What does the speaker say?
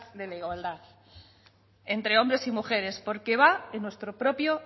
de la igualdad entre hombres y mujeres porque va en nuestro propio